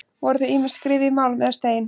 Voru þau ýmist skrifuð í málm eða stein.